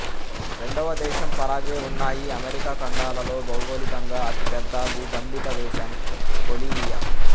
రెండవ దేశం పరాగ్వే ఉన్నాయి అమెరికా ఖండాలలో భౌగోళికంగా అతిపెద్ద భూభంధిత దేశం బొలీవియా